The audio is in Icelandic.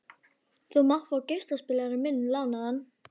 Þú mátt fá geislaspilarann minn lánaðan.